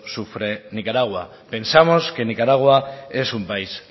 sufre nicaragua pensamos que nicaragua es un país